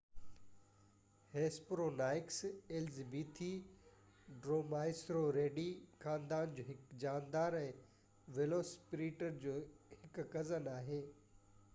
Hesperonychus elizabethae Dromaeosauridae خاندان جو هڪ جاندار ۽ ويلوسيريپٽر جو هڪ ڪزن آهي